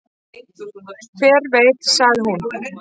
"""Hver veit, sagði hún."""